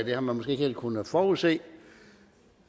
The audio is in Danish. det har man måske ikke helt kunnet forudse